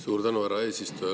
Suur tänu, härra eesistuja!